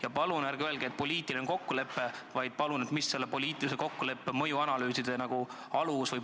Ja palun ärge öelge, et selline on poliitiline kokkulepe, palun öelge, mis sellise poliitilise kokkuleppe alus oli.